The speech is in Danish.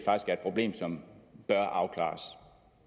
et problem som bør afklares